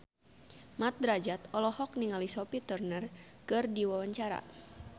Mat Drajat olohok ningali Sophie Turner keur diwawancara